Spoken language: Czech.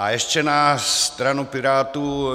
A ještě na stranu Pirátů.